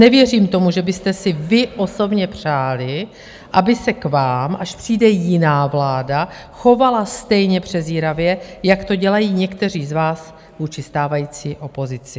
Nevěřím tomu, že byste si vy osobně přáli, aby se k vám, až přijde jiná vláda, chovala stejně přezíravě, jak to dělají někteří z vás vůči stávající opozici.